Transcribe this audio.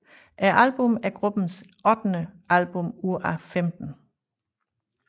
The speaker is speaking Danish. Albummet er gruppens ottende album ud af 15